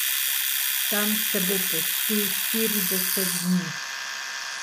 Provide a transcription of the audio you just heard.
Tam se bo postil štirideset dni.